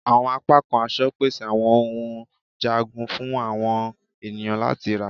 Awọn apakan aṣọ pese awọn ohun njagun fun awọn eniyan lati ra